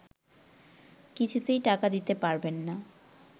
কিছুতেই টাকা দিতে পারবেন না